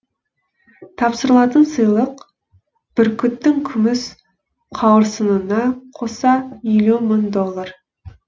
тапсырылатын сыйлық бүркіттің күміс қауырсынына қоса елу мың доллар